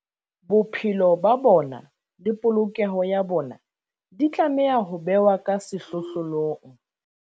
Bophelo ba bona le polokeho ya bona di tlameha ho bewa ka sehlohlolong.